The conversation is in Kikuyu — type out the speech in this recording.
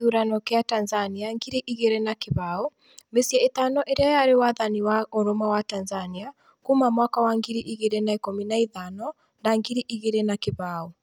Kĩthũrano kia Tanzania ngiri igĩri na kĩbaũ:mĩcii itano ĩria yari wathani wa ũrũmwe wa Tanzania kuuma mwaka wa ngiri igirĩ na ikũmi na ithano na ngiri igirĩ na kĩbao